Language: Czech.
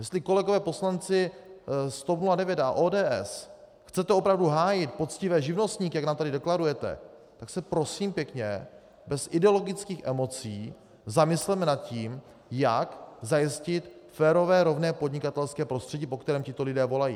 Jestli, kolegové poslanci z TOP 09 a ODS, chcete opravdu hájit poctivé živnostníky, jak nám tady deklarujete, tak se prosím pěkně bez ideologických emocí zamysleme nad tím, jak zajistit férové rovné podnikatelské prostředí, po kterém tito lidé volají.